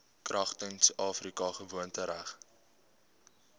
kragtens afrika gewoontereg